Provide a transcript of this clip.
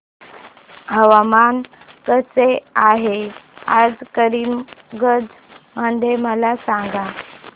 हवामान कसे आहे आज करीमगंज मध्ये मला सांगा